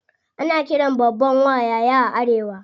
Ana qiran babban wa "yaya" a arewa.